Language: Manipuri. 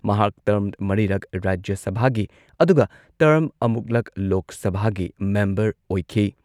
ꯃꯍꯥꯛ ꯇꯔ꯭ꯝ ꯃꯔꯤꯔꯛ ꯔꯥꯖ꯭ꯌ ꯁꯚꯥꯒꯤ ꯑꯗꯨꯒ ꯇꯔ꯭ꯝ ꯑꯃꯨꯛꯂꯛ ꯂꯣꯛ ꯁꯚꯥꯒꯤ ꯃꯦꯝꯕꯔ ꯑꯣꯏꯈꯤ꯫